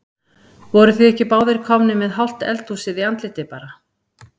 Voruð þið ekki báðir komnir með hálft eldhúsið í andlitið bara?